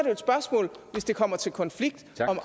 jo et spørgsmål hvis det kommer til konflikt om